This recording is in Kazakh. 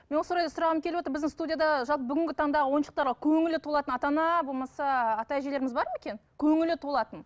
мен осы орайда сұрағым келіп отыр біздің студияда жалпы бүгінгі таңда ойыншықтарға көңілі толатын ата ана болмаса ата әжелеріміз бар ма екен көңілі толатын